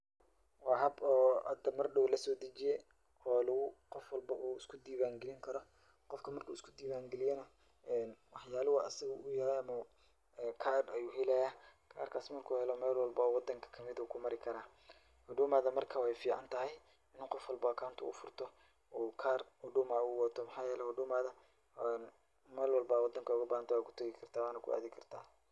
Waa hab oo had mar dhow la soo dejiyay oo qof walbo uu iska diiwaan gelinkaro. Qofka marka iska diiwaan geliyana wax yaalo oo asiga u yahay ama card ayuu helaya. Karkaas marka uu helo meel walbo oo wadanka ma mid ah wuu ku mari kara. Huduumada marka ficaantahay in uu qof walbo account uu furto uu kaar huduma uu wato. Mxaa yeelay huduumada meel walba wadanka ugu baahan tahay waa ku tagi kartaa waana ku aadi kartaa.